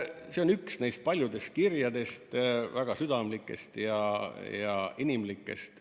" See on üks neist paljudest kirjadest, väga südamlikest ja inimlikest.